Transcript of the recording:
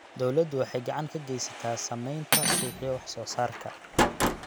Dawladdu waxay gacan ka geysataa samaynta suuqyo wax-soo-saarka.